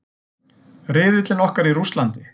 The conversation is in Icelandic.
Riðillinn okkar í Rússlandi.